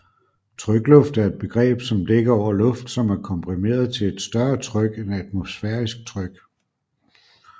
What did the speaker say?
Trykluft er et begreb som dækker over luft som er komprimeret til et større tryk end atmosfærisk tryk